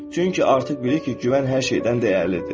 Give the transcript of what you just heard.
Çünki artıq bilir ki, güvən hər şeydən dəyərlidir.